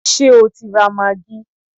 Ṣé o ti ra maggi?